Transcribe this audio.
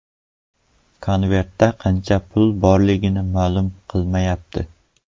Konvertda qancha pul borligi ma’lum qilinmayapti.